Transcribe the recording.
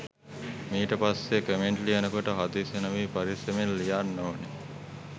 මීට පස්සෙ කමෙන්ට් ලියනකොට හදිසි නොවී පරෙස්සමෙන් ලියන්න ඕන